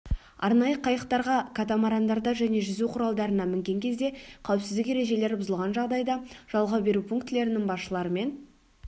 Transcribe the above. арнайы қайықтарға катамарандарда және жүзу құралдарына мінген кезде қауіпсіздік ережелері бұзылған жағдайда жалға беру пунктілерінің басшыларымен